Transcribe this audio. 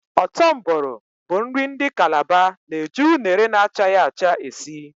Ọ́tọ́ Mboro bụ nri ndị Kalaba na-eji unere na-achaghị acha esi